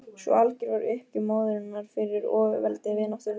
Svo algjör var uppgjöf móðurinnar fyrir ofurveldi vináttunnar.